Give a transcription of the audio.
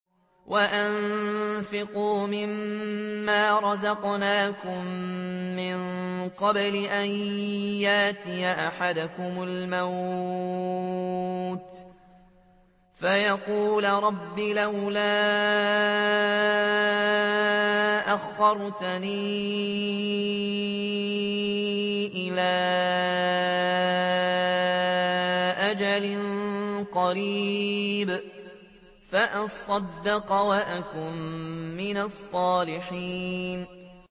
وَأَنفِقُوا مِن مَّا رَزَقْنَاكُم مِّن قَبْلِ أَن يَأْتِيَ أَحَدَكُمُ الْمَوْتُ فَيَقُولَ رَبِّ لَوْلَا أَخَّرْتَنِي إِلَىٰ أَجَلٍ قَرِيبٍ فَأَصَّدَّقَ وَأَكُن مِّنَ الصَّالِحِينَ